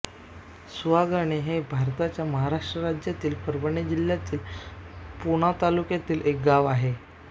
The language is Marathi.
सुहागण हे भारताच्या महाराष्ट्र राज्यातील परभणी जिल्ह्यातील पूर्णा तालुक्यातील एक गाव आहे